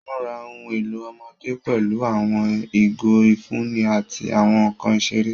Mura ohun elo ọmọde pẹlu awọn igo ifunni ati awọn nkan isere.